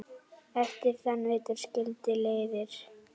Eftir þann vetur skildi leiðir.